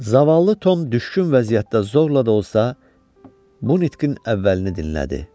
Zavallı Tom düşkün vəziyyətdə zorla da olsa, bu nitqin əvvəlini dinlədi.